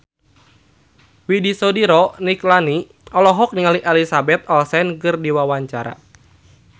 Widy Soediro Nichlany olohok ningali Elizabeth Olsen keur diwawancara